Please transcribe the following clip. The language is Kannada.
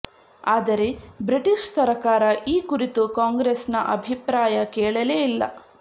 ಆದರೆ ಬ್ರಿಟಿಷ್ ಸರಕಾರ ಈ ಕುರಿತು ಕಾಂಗ್ರೆಸ್ನ ಅಭಿಪ್ರಾಯ ಕೇಳಲೇ ಇಲ್ಲ